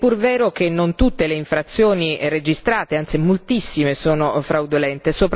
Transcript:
È pur vero che non tutte le infrazioni registrate, anzi moltissime, sono fraudolente.